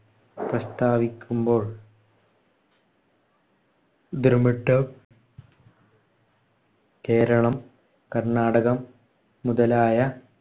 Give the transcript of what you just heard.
പ്രസ്താവിക്കുമ്പോൾ ദ്രമിഡം, കേരളം, കർണാടകം മുതലായ